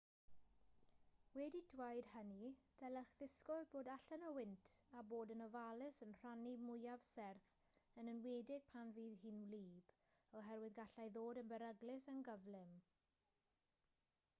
wedi dweud hynny dylech ddisgwyl bod allan o wynt a bod yn ofalus yn rhannau mwyaf serth yn enwedig pan fydd hi'n wlyb oherwydd gallai ddod yn beryglus yn gyflym